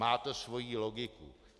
Má to svoji logiku.